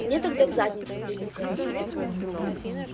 мне тогда в задницу прилетело